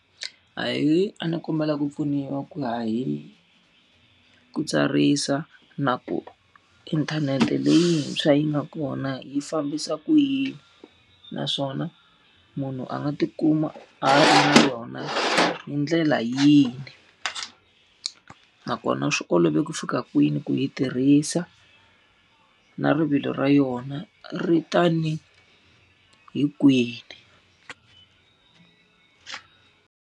Ahee, a ni kombela ku pfuniwa ku ya hi ku tsarisa na ku inthanete leyintshwa yi nga kona yi fambisa ku yini? Naswona munhu a nga ti kuma a ri na yona hi ndlela yini? Nakona swi olove ku fika kwini ku yi tirhisa? Na rivilo ra yona ri ta ni hi kwihi?